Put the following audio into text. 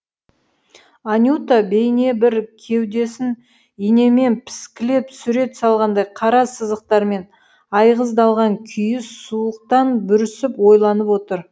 анюта бейнебір кеудесін инемен піскілеп сурет салғандай қара сызықтармен айғыздалған күйі суықтан бүрісіп ойланып отыр